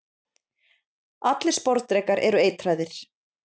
allir sporðdrekar eru eitraðir